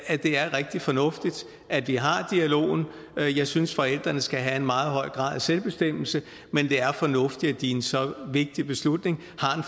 at det er rigtig fornuftigt at vi har dialogen jeg synes forældrene skal have en meget høj grad af selvbestemmelse men det er fornuftigt at de i en så vigtig beslutning har